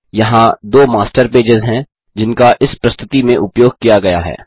यहाँ दो master pages हैं जिनका इस प्रस्तुति में उपयोग किया गया है